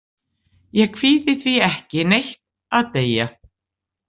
Ég kvíði því ekki neitt að deyja.